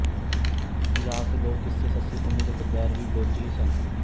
ਪੰਜਾਬ ਦੇ ਲੋਕ ਕਿੱਸੇ ਸੱਸੀ ਪੁੰਨੂ ਦੇ ਕਿਰਦਾਰ ਵੀ ਬਲੋਚੀ ਹੀ ਸਨ